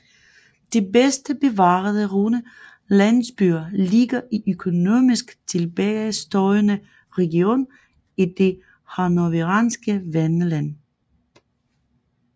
De bedst bevarede runde landsbyer ligger i økonomisk tilbagestående region i det hannoveranske Wendland